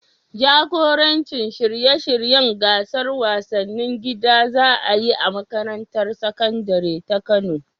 Jagoranci shirye-shiryen gasar wasannin gida da za a yi a makarantar sakandare ta Kano.